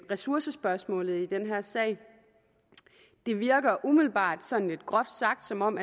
ressourcespørgsmålet i den her sag det virker umiddelbart sådan lidt groft sagt som om